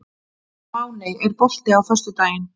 Máney, er bolti á föstudaginn?